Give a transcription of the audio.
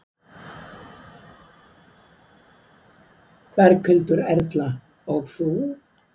Berghildur Erla: Og þú?